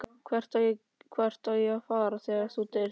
Hvert á ég að fara þegar þú deyrð?